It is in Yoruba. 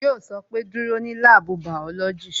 Yo sọ pé "Dúró ní láàbù bàọ́lọ́jì"